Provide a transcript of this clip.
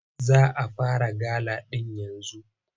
Za a fara gala ɗin yanzu.